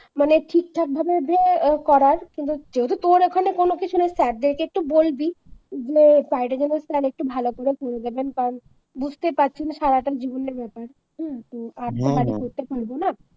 মানে ঠিকঠাক ভাবে যে করার যেহেতু তোর ওখানে কোন কিছু নেই sir দেরকে একটু বলবি plan টা যেন sir একটু ভালো করে দেবেন কারণ বুঝতেই পারছেন সারাটা জীবনের ব্যাপার হম হম আর তো বাড়ি করতে পারব না